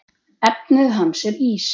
Efnið hans er ís.